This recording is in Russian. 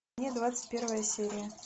двадцать первая серия